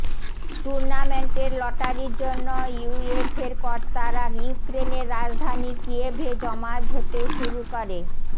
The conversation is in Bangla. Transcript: টুর্নামেন্টের লটারির জন্য ইউএফের কর্তারা ইউক্রেনের রাজধানি কিয়েভে জমায়েত হতে শুরু করে